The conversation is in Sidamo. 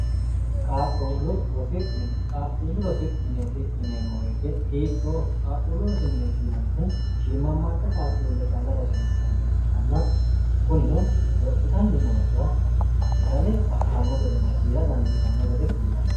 qaaqquullu rosi mineeti yineemmoweete hiittooho qaaqquullu rosimineetiinannihu shiimammaadda qaaqquulle calla rosiinsanniha ikkanna kunino lophitanni noorra fidale affanno gedenna kiira dandiitanno gede kullannin